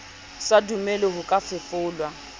sa dumele ho ka fefolwa